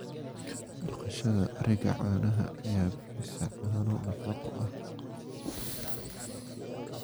Dhaqashada ariga caanaha ayaa bixisa caano nafaqo leh.